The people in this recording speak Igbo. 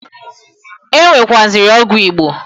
E nwekwuaziri ọgwụ Igbo.